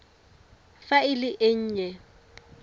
fa e le e nnye